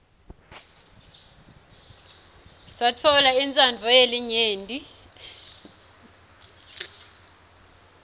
satfola intsandvo yelinyenti